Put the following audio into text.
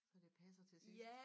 Så det passer til sidst